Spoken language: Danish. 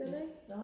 gør du ikke